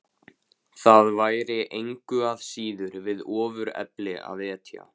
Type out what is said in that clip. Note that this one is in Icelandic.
Það væri engu að síður við ofurefli að etja.